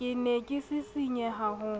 ke ne ke sisinya ho